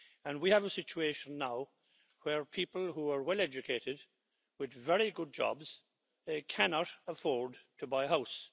We have a situation now where people who are well educated, with very good jobs, cannot afford to buy a house.